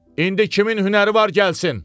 İndi kimin hünəri var, gəlsin!